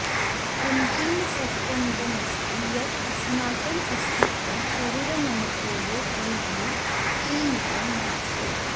अन्तिमसत्यमिदमस्ति यत् अस्माकम् अस्तित्वं शरीरमनसोः परिधौ सीमितं नास्ति